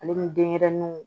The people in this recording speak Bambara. Ale ni denɲɛrɛninw